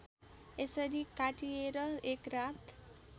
यसरी काटिएर एकरात